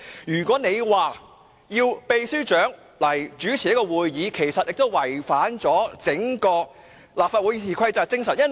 如果你要求立法會秘書長代為主持會議，亦違反了《議事規則》的精神。